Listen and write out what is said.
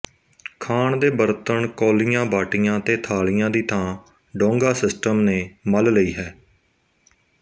ਖਾਣ ਦੇ ਬਰਤਨ ਕੋਲੀਆਂਬਾਟੀਆਂ ਤੇ ਥਾਲੀਆਂ ਦੀ ਥਾਂ ਡੌਗਾ ਸਿਸਟਮ ਣੇ ਮੱਲ ਲਈ ਹੈ